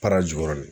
Para jukɔrɔ